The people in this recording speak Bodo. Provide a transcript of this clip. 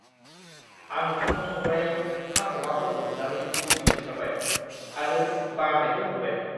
आं ओंखाम संग्रायाव कांक'माफोरखौ नुनानै मुगैनो ओंखारबाय आरो बानायबो मोनबाय।